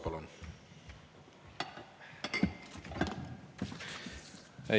Palun!